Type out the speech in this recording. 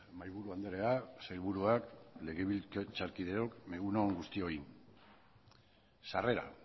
mahaiburu andrea sailburuak legebiltzarkideok egun on guztioi sarrera